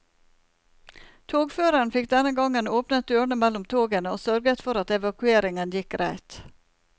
Togføreren fikk denne gangen åpnet dørene mellom togene og sørget for at evakueringen gikk greit.